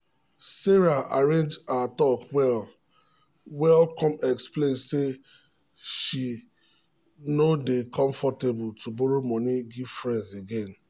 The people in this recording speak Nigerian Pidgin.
sarah arrange her talk well-well come explain um say she say she no dey comfortable to borrow money give friends again.